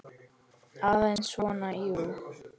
Aðeins svona, jú.